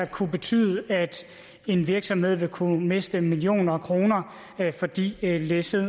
kunne betyde at en virksomhed vil kunne miste millioner af kroner fordi læsset